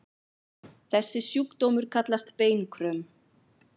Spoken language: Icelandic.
Þessi sjúkdómur kallast beinkröm.